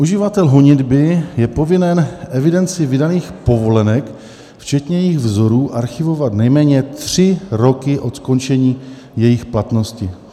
"Uživatel honitby je povinen evidenci vydaných povolenek včetně jejich vzorů archivovat nejméně tři roky od skončení jejich platnosti."